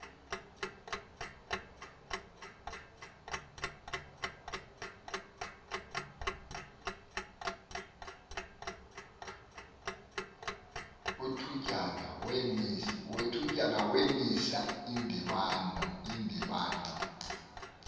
wethutyana wamisa indibano